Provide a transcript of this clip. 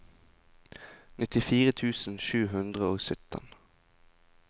nittifire tusen sju hundre og sytten